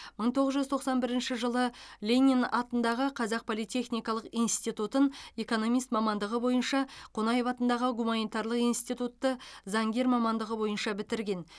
мың тоғыз жүз тоқсан бірінші жылы ленин атындағы қазақ политехникалық институтын экономист мамандығы бойынша қонаев атындағы гуманитарлық институтты заңгер мамандығы бойынша бітірген